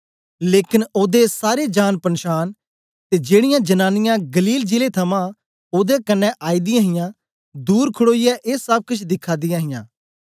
लेकन ओदे सारे जान पन्शान ते जेड़ीयां जनांनीयां गलील जिले थमां ओदे कन्ने आईदी हियां दूर खडोईयै ए सब केछ दिखा दियां हां